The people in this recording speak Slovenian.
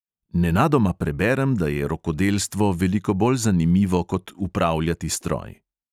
Nenadoma preberem, da je rokodelstvo veliko bolj zanimivo kot upravljati stroj.